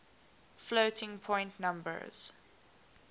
floating point numbers